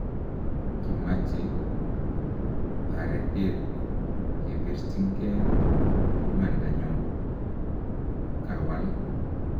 �kimache taretet kebirchinnke imandanyon�, kawal